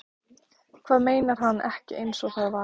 Hvað meinar hann ekki einsog það var?